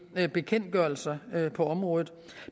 ved bekendtgørelser på området